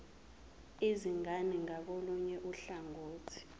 izingane ngakolunye uhlangothi